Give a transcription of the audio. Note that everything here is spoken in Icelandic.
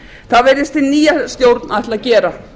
það virðist hin nýja stjórn ætla að gera